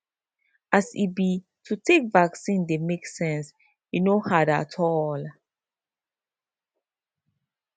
as e be to take vaccine dey make sense e no hard at all